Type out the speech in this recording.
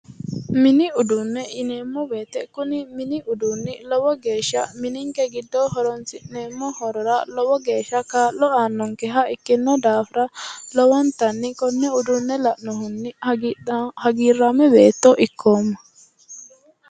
Mini uduune yineemo woyite kuni mini uduunni lowo geesha minikke giddo horonisi'neemo horora lowo geesha kaa'lo aannonikeha ikkino daafira lowonitanni konne uduunne la'nohunni agiraamo beetto ikkooma